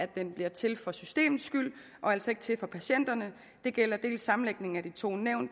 den bliver til for systemets skyld og altså ikke til for patienternes det gælder sammenlægningen af de to nævn